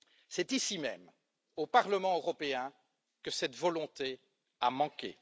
C'est ici même, au Parlement européen, que cette volonté a manqué.